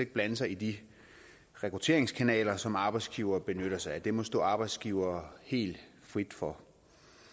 blande sig i de rekrutteringskanaler som arbejdsgivere benytter sig af det må stå arbejdsgivere helt frit for